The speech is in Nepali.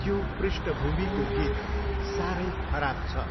त्यो पृष्ठभूमिको गीत साह्रै खराब छ।